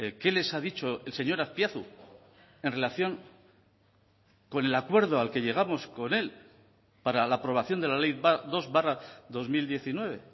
qué les ha dicho el señor azpiazu en relación con el acuerdo al que llegamos con él para la aprobación de la ley dos barra dos mil diecinueve